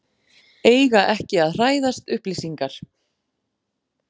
Eiga ekki að hræðast upplýsingar